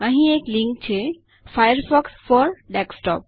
અહીં એક લીંક છે ફાયરફોક્સ ફોર ડેસ્કટોપ